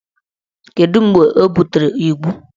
Kedu mgbe o butere igwu?